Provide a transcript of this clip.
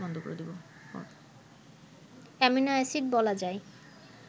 amino acid বলা যায়